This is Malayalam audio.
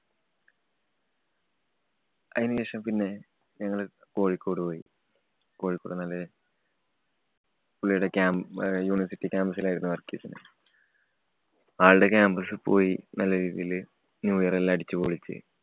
അയിനുശേഷം പിന്നെ ഞങ്ങള് കോഴിക്കോട് പോയി. കോഴിക്കോട് എന്ന് പറഞ്ഞാല് പുള്ളിയുടെ ക്യാ~ university campus ലായിരുന്നു work ചെയ്തിരുന്ന്. ആള്‍ടെ campus പോയി നല്ലരീതിയില് new year എല്ലാം അടിച്ചു പൊളിച്ച്.